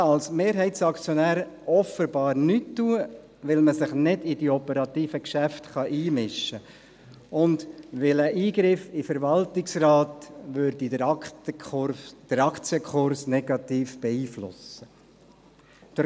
Man kann als Mehrheitsaktionär offenbar nichts tun, weil man sich nicht in die operativen Geschäfte einmischen kann und weil ein Eingreifen in den Verwaltungsrat den Aktienkurs negativ beeinflussen würde.